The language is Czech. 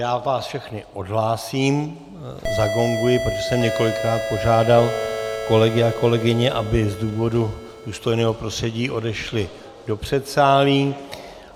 Já vás všechny odhlásím, zagonguji, proto jsem několikrát požádal kolegy a kolegyně, aby z důvodu důstojného prostředí odešli do předsálí.